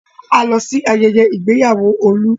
A lọ sí ayẹyẹ ìgbéyàwó Olú.